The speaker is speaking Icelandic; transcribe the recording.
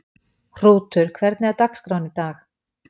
Hrútur, hvernig er dagskráin í dag?